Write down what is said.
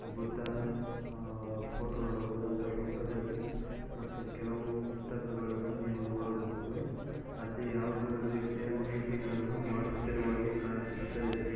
ಬುದ್ಧನ ಆಹಾ ಫೋಟೋ ನೋಡಬಹುದು ಅದರ ಪಕ್ಕದಲ್ಲಿ ಮತ್ತೆ ಕೆಲವು ಪುಸ್ತಕಗಳನ್ನು ನೀವು ನೋಡಬಹುದು ಅಲ್ಲಿ ಯಾವದೋ ರೀತಿಯ ಮೀಟಿಂಗ್ ಅನ್ನು ಮಾಡುತ್ತಿರುವ ಹಾಗೆ ಕಾಣಿಸುತಾ ಇದೆ.